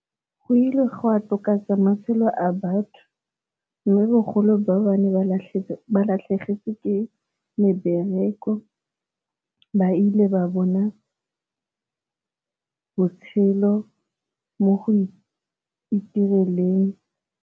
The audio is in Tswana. Go ile gwa matshelo a batho, mme bogolo ba ba ne ba latlhegetswe ke mebereko ba ile ba bona botshelo mo go itireleng.